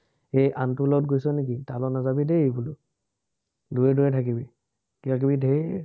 হেই আনটোৰ লগত গৈছ নেকি, তাৰ লগত নাযাবি দেই। দুৰে দুৰে থাকিবি। কিবা-কিবি ধেৰ।